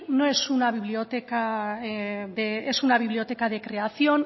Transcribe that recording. es una biblioteca de creación